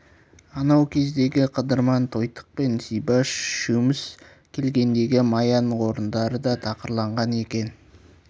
анау кездегі қыдырман тойтық пен зибаш үшеуміз келгендегі маяның орындары да тақырланған екен